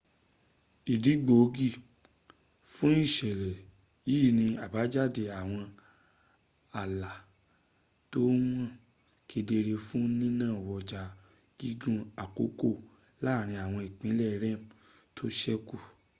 ìdí gbòógì fú ìṣẹ̀lẹ̀ yìí ni àbájáde àwọn ààlá tó hàn kedere fún nínawọ́jà gígùn àkókò láàrin àwọn ìpínlẹ̀ rem tó sẹ́kù